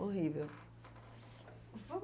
Horrível.